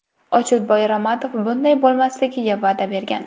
Ochilboy Ramatov bunday bo‘lmasligiga va’da bergan.